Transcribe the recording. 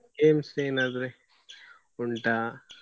Games ಏನಾದ್ರೆ ಉಂಟಾ.